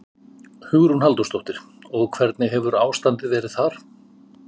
Hugrún Halldórsdóttir: Og hvernig hefur ástandið verið þar?